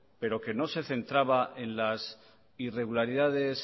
pero que no se centraba en las irregularidades